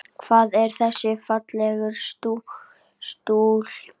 Hver er þessi fallega stúlka?